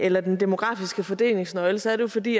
eller den demografiske fordelingsnøgle så er det fordi